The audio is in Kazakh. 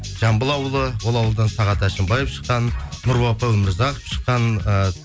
жамбыл ауылы ол ауылдан сағат әшімбаев шыққан өмірзақов шыққан і